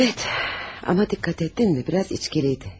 Evet, ama dikkat ettin mi, biraz içkiliydi.